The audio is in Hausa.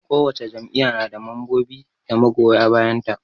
Kowace jam'iyya na da mambobi da magoya bayan ta.